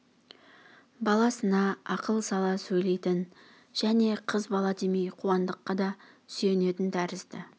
баласына ақыл сала сөйлейтін және қыз бала демей қуандыққа да сүйенетін тәрізді